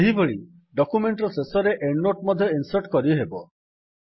ସେହିଭଳି ଡକ୍ୟୁମେଣ୍ଟ୍ ର ଶେଷରେ ଏଣ୍ଡ୍ ନୋଟ୍ ମଧ୍ୟ ଇନ୍ସର୍ଟ୍ କରିହେବ